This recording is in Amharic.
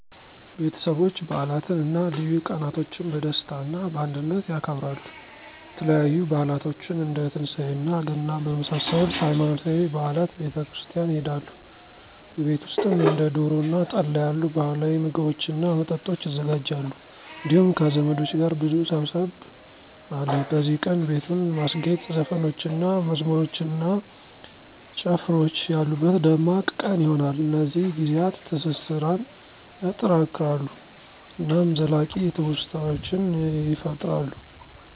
ቤተሰቦች በዓላትን እና ልዩ ቀናቶችን በደስታ እና በአንድነት ያከብራሉ። የተለያዩ በዓላቶችን እንደ ትንሳኤ እና ገና በመሳሰሉት ሃይማኖታዊ በዓላት ቤተ ክርስቲያን ይሆዳሉ። በቤት ውሰጥም እንደ ዶሮ እና ጠላ ያሉ ባህላዊ ምግቦችን እና መጠጦች ይዘጋጃሉ እንዲሁም ከዘመዶች ጋር ብዙ ሰብሰብ አለ። በዚህ ቀን, ቤቱን ማስጌጥ, ዘፈኖችን እና መዝሙሮች እና ጨፍራወች ያሉበት ደማቅ ቀን ይሆነል። እነዚህ ጊዜያት ትስሰራን ያጠናክራሉ እናም ዘላቂ ትውስታዎችን ይፈጥራሉ።